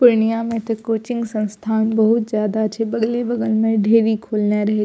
पूर्णिया में ते कोचिंग संस्थान बहुत ज्यादा छै बगले-बगल में ढेरी खोला रहे --